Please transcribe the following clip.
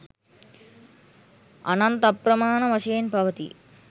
අනන්ත අප්‍රමාණ වශයෙන් පවතී